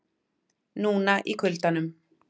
Núna í kuldanum.